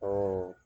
Ɔ